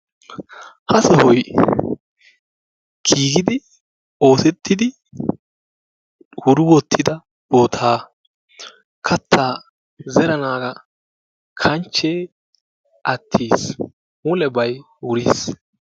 Ha sohoy giigidi oosettidi wuri wottida bootaa. Katta zeranaagaa kanchchee attisi mulebay wuris.